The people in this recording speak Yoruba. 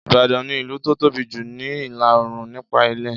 Ìbàdàn ni ilu tó tóbi jù ní ìlà Òòrùn nípa ilẹ̀